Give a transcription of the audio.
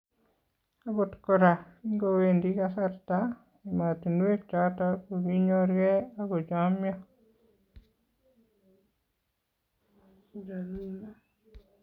Akot koraa , kingoweendii kasarta , emotunwek choton kokinyorkee akochomyo